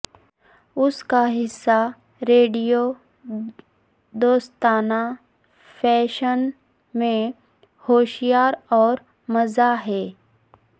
اس کا حصہ ریڈیو دوستانہ فیشن میں ہوشیار اور مزہ ہے